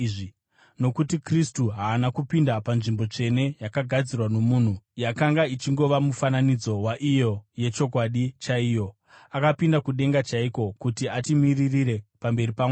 Nokuti Kristu haana kupinda panzvimbo tsvene yakagadzirwa nomunhu yakanga ichingova mufananidzo waiyo yechokwadi chaiyo; akapinda kudenga chaiko, kuti atimiririre pamberi paMwari.